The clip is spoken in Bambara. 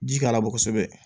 Ji k'a labɔ kosɛbɛ